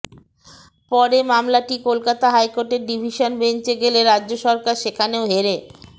পরে মামলাটি কলকাতা হাইকোর্টের ডিভিশন বেঞ্চে গেলে রাজ্য সরকার সেখানেও হেরে